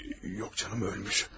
Yox, canım ölmüş.